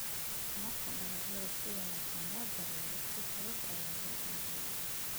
Marka dalagyada si wanaagsan loo daryeelo si fudud ayaa loo iibiyaa.